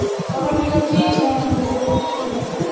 ତମର ସେଇଟା କି ଛଣ ହୁଏ କହିଲୁ କହିଲୁ?